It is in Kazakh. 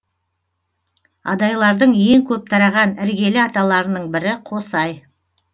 адайлардың ең көп тараған іргелі аталарының бірі қосай